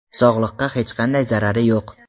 Sog‘likka hech qanday zarari yo‘q.